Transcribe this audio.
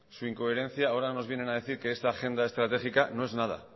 su incoherencia ahora nos vienen a decir que esta agenda estratégica no